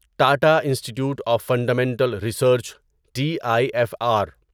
Tata institute of fundamental research T I F are